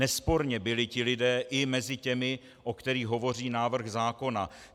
Nesporně byli ti lidé i mezi těmi, o kterých hovoří návrh zákona.